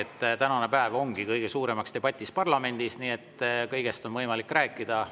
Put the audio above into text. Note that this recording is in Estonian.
Tänane päev ongi kõige suuremaks debatiks parlamendis, nii et kõigest on võimalik rääkida.